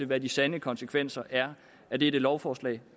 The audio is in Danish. hvad de sande konsekvenser er af dette lovforslag